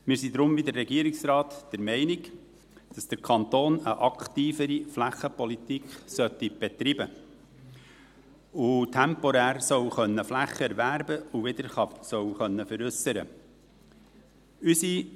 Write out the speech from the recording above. Wir sind deshalb wie der Regierungsrat der Meinung, dass der Kanton eine aktivere Flächenpolitik betreiben, temporär Flächen erwerben und wieder veräussern können soll.